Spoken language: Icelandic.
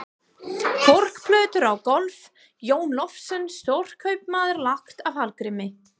Korkplötur á gólf: Jón Loftsson, stórkaupmaður, lagt af Hallgrími